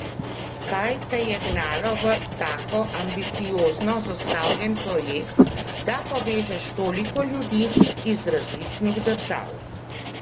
Kaj te je gnalo v tako ambiciozno zastavljen projekt, da povežeš toliko ljudi iz različnih držav?